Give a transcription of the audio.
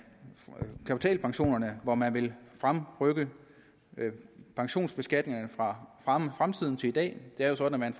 kapitalpensionerne hvor man vil fremrykke pensionsbeskatningerne fra fremtiden til i dag det er jo sådan at